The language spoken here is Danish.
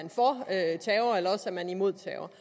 man imod terror